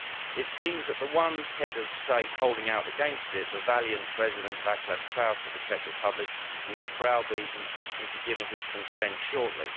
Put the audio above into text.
It seems that the one Head of State holding out against it, the valiant President Václav Klaus of the Czech Republic, will be browbeaten into giving his consent shortly.